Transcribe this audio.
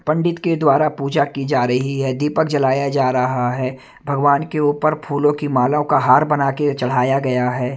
पंडित के द्वारा पूजा की जा रही है दीपक जलाया जा रहा है भगवान के ऊपर फूलों की मालों का हार बना के चढ़ाया गया है।